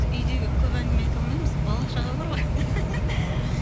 үйде көп әңгіме айта алмаймыз бала шаға бар ғой